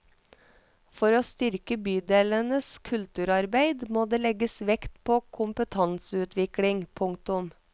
For å styrke bydelenes kulturarbeid må det legges vekt på kompetanseutvikling. punktum